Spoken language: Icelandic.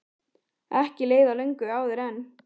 Ekki leið á löngu áður en